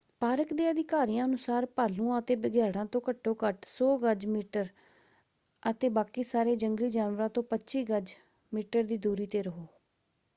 Park ਦੇ ਅਧਿਕਾਰੀਆਂ ਅਨੁਸਾਰ ਭਾਲੂਆਂ ਅਤੇ ਬਘਿਆੜਾਂ ਤੋਂ ਘੱਟੋ ਘੱਟ 100 ਗਜ/ਮੀਟਰ ਅਤੇ ਬਾਕੀ ਸਾਰੇ ਜੰਗਲੀ ਜਾਨਵਰਾਂ ਤੋਂ 25 ਗਜ/ਮੀਟਰ ਦੀ ਦੂਰੀ ‘ਤੇ ਰਹੋ!